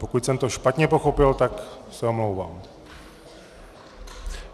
Pokud jsem to špatně pochopil, tak se omlouvám.